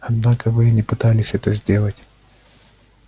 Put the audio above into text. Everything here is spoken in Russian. однако вы и не пытались этого сделать